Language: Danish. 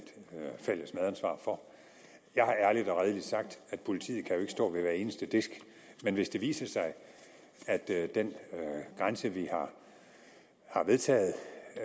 fælles medansvar for jeg har ærligt og redeligt sagt at politiet jo ikke kan stå ved hver eneste disk men hvis det viser sig at den grænse vi har vedtaget